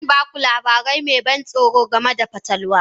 Zan ba ku labari mai ban tsoro game da fatalwa.